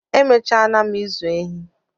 Emechara m ịzụ ehi